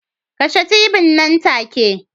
Kashe t.v nan take